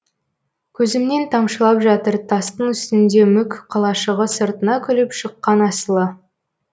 көзімнен тамшылап жатыр тастың үстінде мүк қалашығы сыртына күліп шыққан асылы